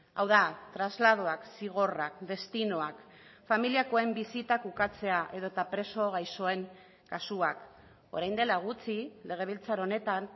hau da trasladoak zigorrak destinoak familiakoen bisitak ukatzea edota preso gaixoen kasuak orain dela gutxi legebiltzar honetan